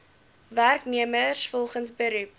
werknemers volgens beroep